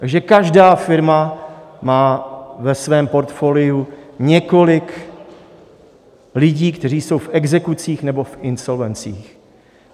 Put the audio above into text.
Takže každá firma má ve svém portfoliu několik lidí, kteří jsou v exekucích nebo v insolvencích.